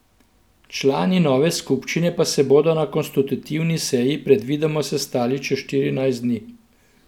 Člani nove skupščine pa se bodo na konstitutivni seji predvidoma sestali čez štirinajst dni.